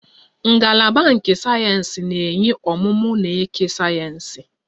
Ngalaba nke sayensị na-enye ọmụmụ na eke sayensị